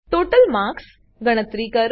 total marks કુલ ગુણ ગણતરી કરો